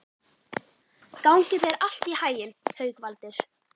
Gangi þér allt í haginn, Haukvaldur.